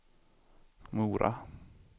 Mora